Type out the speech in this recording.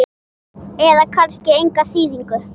eða kannski enga þýðingu?